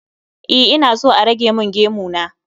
E, ina so a rage min gemu na